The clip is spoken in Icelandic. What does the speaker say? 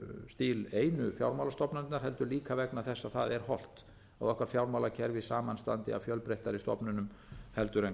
stíl einu fjármálastofnanirnar heldur líka vegna þess að það er hollt að okkar fjármálakerfi samanstandi af fjölbreyttari stofnunum heldur en